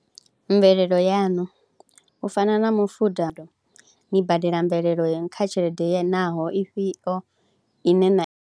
Mvelelo yaṋu u fana na mufuda, ni badela mvelelo kha tshelede naho ifhio ine na.